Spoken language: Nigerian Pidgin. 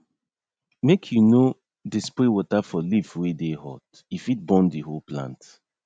make u no dey spray water for leaf wey dey hot e fit burn the whole plant